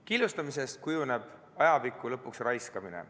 Killustamisest kujuneb ajapikku lõpuks raiskamine.